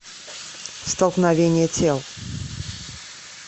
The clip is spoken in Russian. столкновение тел